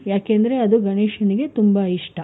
ಯಾಕಂದ್ರೆ ಅದು ಗಣೇಶನಿಗೆ ತುಂಬಾ ಇಷ್ಟ.